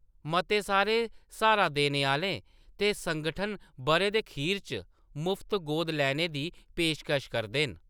मते सारे स्हारा देने आह्‌ले ते संगठन बʼरे दे खीर च मुफत गोद लैने दी पेशकश करदे न।